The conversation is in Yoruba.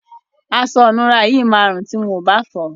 Aṣọ ìnura yìí máa rùn ti wọ́n ò bá fọ̀ọ́.